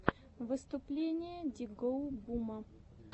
выступление ди гоу бума